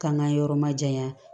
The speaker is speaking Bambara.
K'an k'an yɔrɔ ma janya